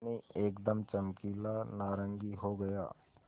पानी एकदम चमकीला नारंगी हो गया